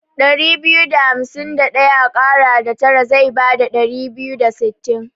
Ɗari biyu da hamsi Ɗaya a ƙara da tara zai bada Ɗari biyu da sittin.